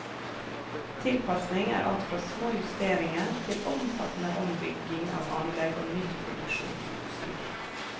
Tilpasning er alt fra små justeringer til omfattende ombygging av anlegg og nytt produksjonsutstyr.